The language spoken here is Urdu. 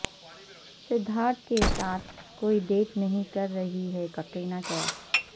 سدھارتھ کے ساتھ کوئی ڈیٹ نہیں کر رہی ہیں کیٹرینہ کیف